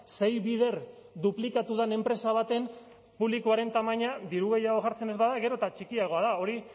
sei bider duplikatu den enpresa baten publikoaren tamaina diru gehiago jartzen ez bada gero eta txikiagoa da hori